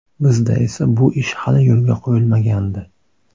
Bizda esa bu ish hali yo‘lga qo‘yilmagandi.